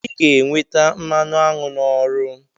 I ga-enweta mmanụ aṅụ n'ọrụ.